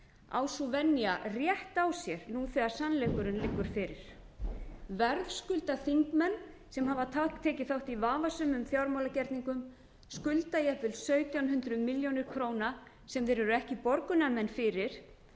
á sú venja rétt á sér nú þegar sannleikurinn liggur fyrir verðskulda þingmenn sem hafa tekið þátt í vafasömum fjármálagerningum skulda jafnvel sautján hundruð milljónir króna sem þeir eru ekki borgunarmenn fyrir